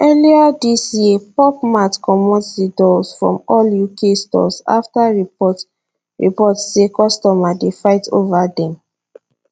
earlier dis yearpop mart comot di dolls from all uk storesafter reports reports say customers dey fight over dem